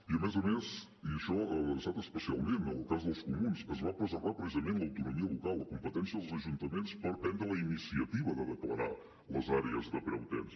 i a més a més i això ha estat especialment el cas dels comuns es va preservar precisament l’autonomia local la competència dels ajuntaments per prendre la iniciativa de declarar les àrees de preu tens